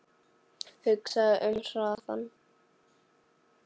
Hugsaðu um hraðann